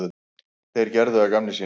Þeir gerðu að gamni sínu.